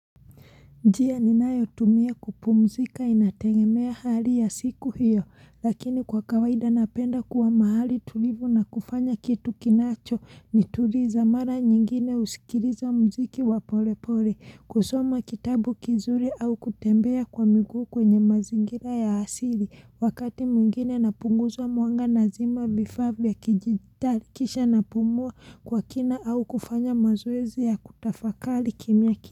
Njia ninayo tumia kupumzika inatengemea hali ya siku hiyo lakini kwa kawaida napenda kuwa mahali tulivu na kufanya kitu kinacho ni tuliza mara nyingine usikiliza muziki wa pole pole kusoma kitabu kizuri au kutembea kwa miguu kwenye mazingira ya asili wakati mwngine napunguza mwanga nazima vifaa vya kijijitakisha napumua kwa kina au kufanya mazoezi ya kutafakali kimya.